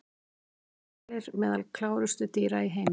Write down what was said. Eru hvalir meðal klárustu dýra í heimi?